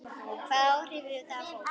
Hvaða áhrif hefur þetta fólk?